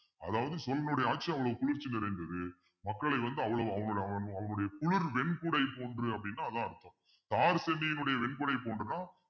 அதாவது சோழனுடைய ஆட்சி அவ்வளவு குளிர்ச்சி நிறைந்தது மக்களை வந்து அவ்வளவு அவங்களுடைய குளிர் வெண்குடை போன்று அப்படின்னா அதான் அர்த்தம் தார் சென்னியினுடைய வெண்குடை போன்றுதான்